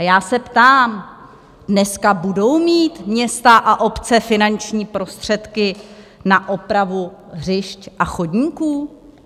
A já se ptám: Dneska budou mít města a obce finanční prostředky na opravu hřišť a chodníků?